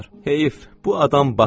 Heyf, bu adam batdı!